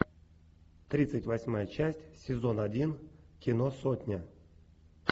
тридцать восьмая часть сезон один кино сотня